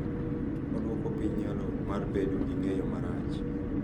Odwoko piny nyalo mar bedo gi ng’eyo marach .